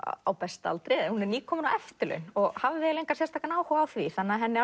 á besta aldri hún er nýkomin á eftirlaun og hafði engan sérstakan áhuga á því þannig að henni